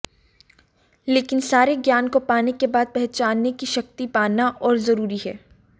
लेकिन सारे ज्ञान को पाने के बाद पहचानने की शक्ति पाना और जरूरी है